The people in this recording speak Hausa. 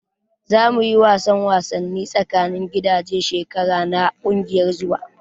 Za mu yi wasan wasanni tsakanin gidaje shekara na kungiyar zuwa.